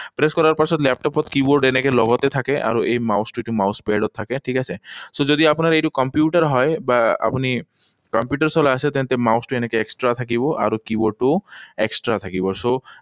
Press কৰাৰ পাছত লেপটপত কীবৰ্ড এনেকৈ লগতে থাকে। আৰু এই mouse টো, এইটো mouse pad ও থাকে, ঠিক আছে? So, যদি আপোনাৰ এইটো কম্পিউটাৰ হয় বা আপুনি কম্পিউটাৰ চলাই আছে, তেন্তে mouse টো এনেকৈ extra থাকিব। আৰু কীবৰ্ডটো extra থাকিব, so